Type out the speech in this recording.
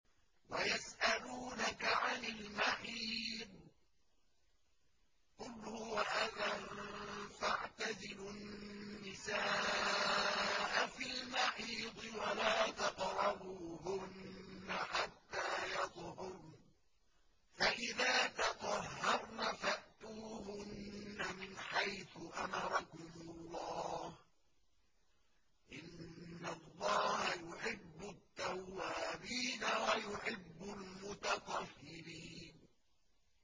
وَيَسْأَلُونَكَ عَنِ الْمَحِيضِ ۖ قُلْ هُوَ أَذًى فَاعْتَزِلُوا النِّسَاءَ فِي الْمَحِيضِ ۖ وَلَا تَقْرَبُوهُنَّ حَتَّىٰ يَطْهُرْنَ ۖ فَإِذَا تَطَهَّرْنَ فَأْتُوهُنَّ مِنْ حَيْثُ أَمَرَكُمُ اللَّهُ ۚ إِنَّ اللَّهَ يُحِبُّ التَّوَّابِينَ وَيُحِبُّ الْمُتَطَهِّرِينَ